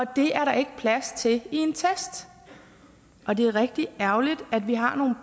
det er der ikke plads til i en test og det er rigtig ærgerligt at vi har nogle